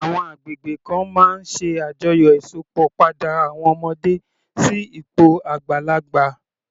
Àwọn agbègbè kan máa ń ṣe àjọyọ̀ Ìsópọ̀ padà àwọn ọmọdé sí ipò àgbàlagbà